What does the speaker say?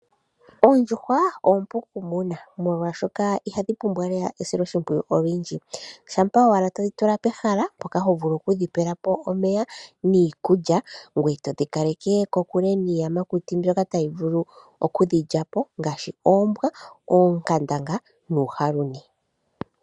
Ondjuhwa ompu okumonwa ,molwaashoka ohadhi pumbwa esiloshimpwiyu olwindji. Ongele owala todhi tula pehala mpoka tovulu okudhi pelapo omeya niikulya ngweye todhi kaleke kokule niiyamakuti mbyoka tayi vulu okudhilyapo ngaashi oongandanga noohaluni.